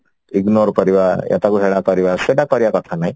ignore କରିବା ୟା ତାକୁ ହେଳା କରିବା ସେଟା କରିବା କଥା ନାଇଁ